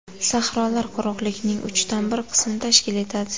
Sahrolar quruqlikning uchdan bir qismini tashkil etadi.